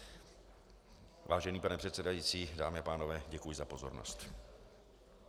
Vážený pane předsedající, dámy a pánové, děkuji za pozornost.